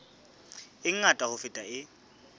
e ngata ho feta e